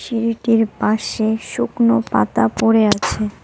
সিঁড়িটির পাশে শুকনো পাতা পড়ে আছে।